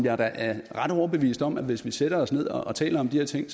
er da ret overbevist om at hvis vi sætter os ned og taler om de her ting